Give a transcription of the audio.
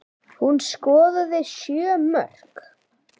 Hún skoraði sjö mörk.